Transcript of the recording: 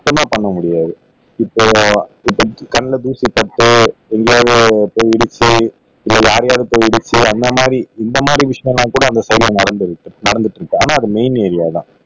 சுத்தமா பண்ண முடியாது இப்போ இப்போ கண்ல தூசு பட்டோ இல்ல போய் இடிச்சி வேற யார் யாருக்கோ இடிச்சி அந்தமாதிரி இந்தமாதிரி விஷயம்லாம் கூட அந்த ஸைடுல நடந்து இருக்கு நடந்துட்டு இருக்கு ஆனா அது மெயின் ஏரியா தான்